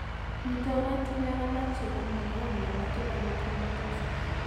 Miten oratinwek alak chepo miondap Neonatal hemochromatosis.